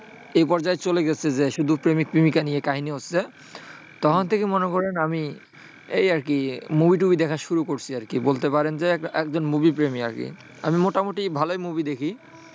এই পর্যায়ে চলে গেছে যে শুধু প্রেমিক-প্রেমিকা নিয়ে কাহিনি হচ্ছে তখন থেকে মনে করেন আমি এই আরকি movie টুভি দেখা শুরু করছি আরকি। বলতে পারেন যে এক একজন movie প্রেমী আরকি। আমি মোটামুটি ভালোই movie দেখি।